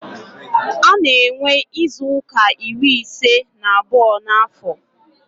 A na-enwe izuuka iri ise na abụọ n'afọ.